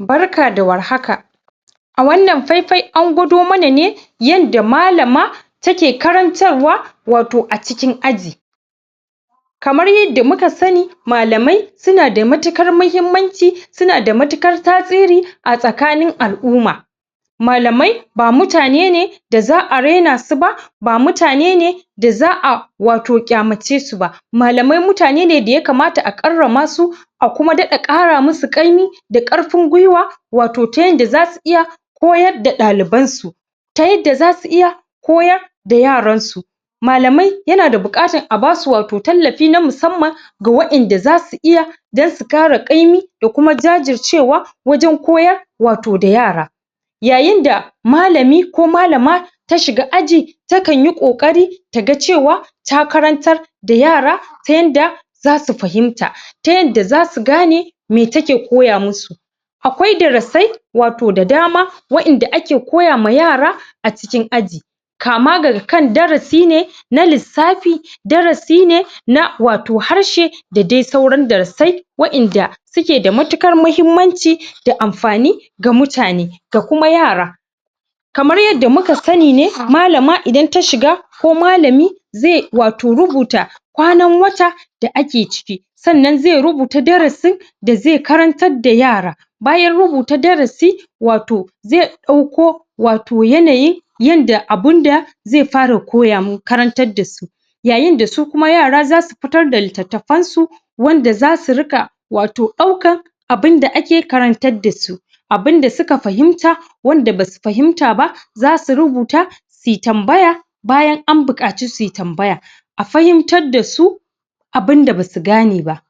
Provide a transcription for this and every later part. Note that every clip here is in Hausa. Barka da War haka a wannan faifai an gwado mana ne yanda Malama ta ke karantarwa wato acikin aji kamar yanda muka sani malamai su nad matukar mahimmanci su nada mtukar tasiri a tsakanin al'umma malamai ba mutane ne ba za'a raina su ba ba mutane ne sa za'a wato ƙyamace su ba malamai mutane ne daya kamata karama su a kuma ƙara musu ƙaymi da ƙarfin gwiwa wato ta yadda zasu iya koyar da ɗaliban su ta yadda zasu iya koyar da yaransu malamai yana buƙatan wato a basu tallafi na musamman ga waɗan da za su iya kuma su ƙara ƙaymi da kuma jajircewa wajen koyar wato da yara yayin da ta shiga aji takan yi kokari taga cewa ya karantar da yara ta yanda zasu su fahimta ta yanda zasu gane me take koya musu akwai darrasai wato da dama waɗanda ake koya ma yara a cikin aji kama ga daga kan darasi ne i na lissafi darasi ne na wato harshe da sauran darasai wa'yanda suke da matuƙar mahimmanci da anfani ga mutane ga kuma yara kamar yadda muka sani ne ,Malama idan ta shiga ko malami zai wato zai rubuta kwanan wata da ake ciki sannan zai rubuta darasi da zai karantar da yara bayan rubuta darasi wato zai dauko wato yanayi yanda abun da zai fara koya? karantar da su yayin da su kuma yara zasu fitar da littattafan su Wanda za su riƙa wato daukar abinda ake karantar da su abin da suka fahimta wanda basu fahimta ba zasu rubuta suyi tambaya bayan an buƙataci suyi tambaya a fahimtar da su abinda basu gane ba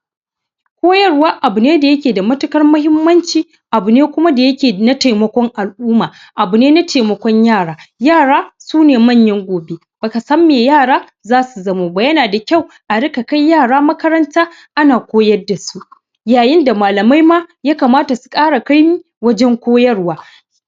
koyar wa wato abu ne daya ke da matuƙar mahimmanci abu ne kuma da yake na taimakon al'umma abu ne na taimakon yara yara su ne manyan gobe baka san mai yara zasu zamo ba yana da kyau a riƙa kai yara makaranta ana koyar da su yayin da malamai ma Yaya kamata susu ƙara ƙayami wajen koyarwa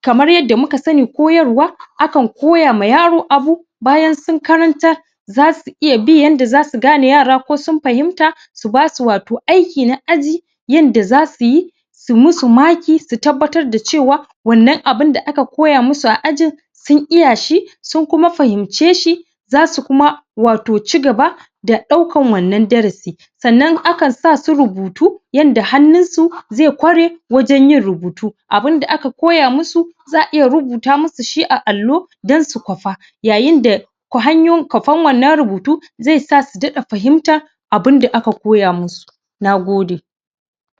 kamar yanda muka sani koyarwa akan akankoya ma yaro abu bayan sun karantar za su iya bi yanda zasu gane yara ko sun fahimta su ba su wato aiki na aji yanda za su yi su mu su maki su tabbatar da cewa wannan abun da aka koya musu a ajin sun iya shi sun koma fahimce shi za su koma wato cigaba da daukan wanna darasi sannan akan sa su rubutu yanda hannun su zai kware wajen yin rubutu abinda aka koya musu za'a iya rubuta musu shi a allo dan su kwafa yayin da kwafan wannan rubutu dai sa su daɗa fahimta abun da aka koya musu. nagode